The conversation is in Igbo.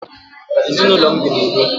Ezi na ulo m bi na udoo.